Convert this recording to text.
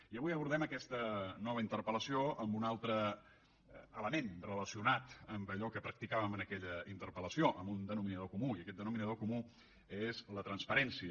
i avui abordem aquesta nova interpel·lació amb una altre element relacionat amb allò que practicàvem en aquella interpel·lació amb un denominador comú i aquest denominador comú és la transparència